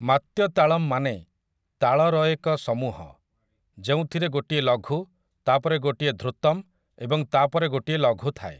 ମାତ୍ୟ ତାଳମ୍ ମାନେ ତାଳରଏକ ସମୂହ, ଯେଉଁଥିରେ ଗୋଟିଏ ଲଘୁ, ତା' ପରେ ଗୋଟିଏ ଧ୍ରୁତମ୍ ଏବଂ ତା' ପରେ ଗୋଟିଏ ଲଘୁ ଥାଏ ।